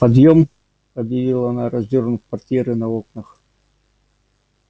подъем объявила она раздёрнув портьеры на окнах